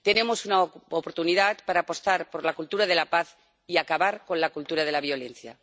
Tenemos una oportunidad para apostar por la cultura de la paz y acabar con la cultura de la violencia.